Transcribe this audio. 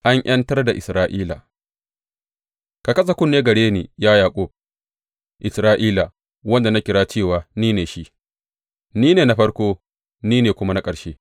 An ’yantar da Isra’ila Ka kasa kunne gare ni, ya Yaƙub, Isra’ila, wanda na kira cewa, Ni ne shi; ni ne na farko ni ne kuma na ƙarshe.